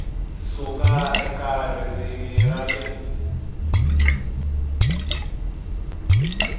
suka eka ririmi ra le